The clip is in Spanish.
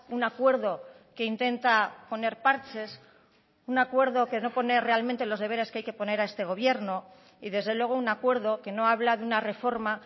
un acuerdo que intenta poner parches un acuerdo que no pone realmente los deberes que hay que poner a este gobierno y desde luego un acuerdo que no habla de una reforma